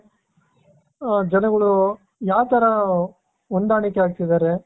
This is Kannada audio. ಆ ಜನಗಳು ಯಾವ್ ತರ ಹೊಂದಾಣಿಕೆ ಆಗ್ತಿದ್ದಾರೆ .